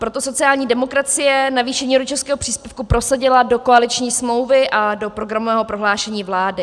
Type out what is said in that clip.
Proto sociální demokracie navýšení rodičovského příspěvku prosadila do koaliční smlouvy a do programového prohlášení vlády.